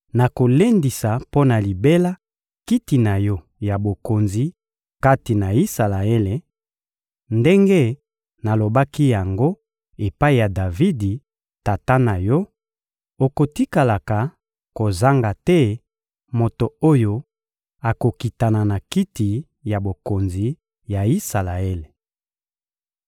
nakolendisa mpo na libela kiti na yo ya bokonzi kati na Isalaele, ndenge nalobaki yango epai ya Davidi, tata na yo: ‹Okotikalaka kozanga te moto oyo akokitana na kiti ya bokonzi ya Isalaele.›